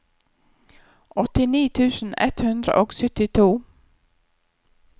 åttini tusen ett hundre og syttito